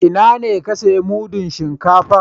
Ina ne ka siya mudun shinkafa?